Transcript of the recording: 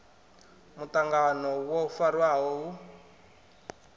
a muṱangano wo farwaho hu